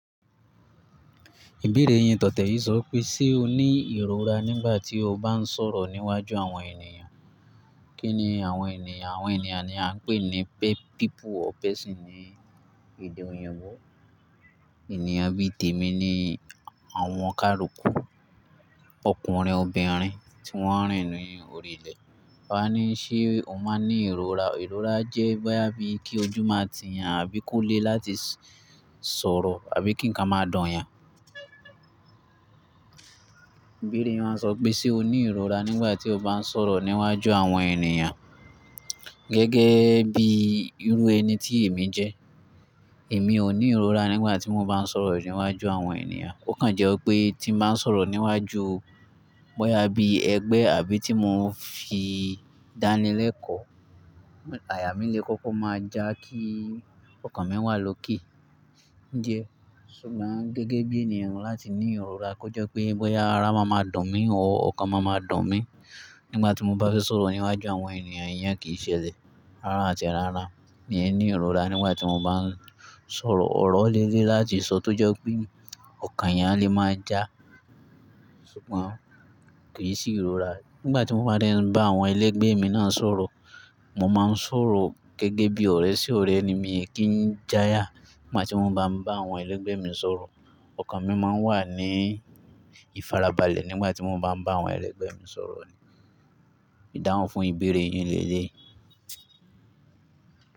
Ìbéèrè yẹn tọ̀ te yi sọ pé ṣe o ní ìrora nígbà tí o bá ń sọ̀rọ̀ níwájú àwọn ènìyàn? Kí ni àwọn ènìyàn? Àwọn ènìyàn ni a ń pè ní p-people or person ní èdè òyìnbó. Ènìyàn bíi tèmi ni àwọn káruku ọkùnrin, obìnrin tí wọ́n ń rìn ní orí ilẹ̀. Wà á ní, ṣe o máa ń ní ìrora? Ìrora jẹ́ bóyá bíi kí ojú máa ti yàn àbí kó le láti s-sọ̀rọ̀ àbí kí ǹkan máa dùn yàn. Ìbéèrè yẹn wáa ń sọ pé ṣe o ní ìrora nígbà tí o bá ń sọ̀rọ̀ níwájú àwọn ènìyàn. Gẹ́gẹ́ bí irú ẹni tí èmi jẹ́, èmi ò ní ìrora nígbà tí mo bá ń sọ̀rọ̀ níwájú àwọn ènìyàn. Ó kàn jẹ́ wipé tí mo bá ń sọ̀rọ̀ níwájú bóyá bí ẹgbẹ́ àbí tí mò ń fi dánilẹ́kọ̀ọ́, àyà mí le kókó máa já kí ọkàn mi wà lókè. Ǹjẹ́ ṣùgbọ́n gẹ́gẹ́ bí ènìyàn láti ní ìrora kó jẹ́ pé bóyá ara máa ma dùn mí or ọkàn máa ma dùn mí nígbà tí mo bá fẹ́ sọ̀rọ̀ níwájú àwọn ènìyàn, ìyẹn kì í ṣelẹ̀. Rárá àti rárá. Mi n ní ìrora nígbà tí mo bá ń sọ̀rọ̀. Òró le le láti sọ tó jẹ́ pé ọkàn eyàn le máa já ṣùgbọ́n kì í sì ìrora. Nígbà tí mo bá dé bá àwọn ẹlẹ́gbẹ́ mi náà sọ̀rọ̀, mo máa ń sọ̀rọ̀ gẹ́gẹ́ bí ọ̀rẹ́ sí ọ̀rẹ́ ni mí kí ń jayà nígbà tí mo bá ń bá àwọn ẹlẹ́gbẹ́ mi sọ̀rọ̀. Ọkàn mi máa ń wà ní ìfarabalẹ̀ nígbà tí mo bá ń bá àwọn ẹlẹ́gbẹ́ mi sọ̀rọ̀ ni. Ìdáhùn fún ìbéèrè yín leleyi.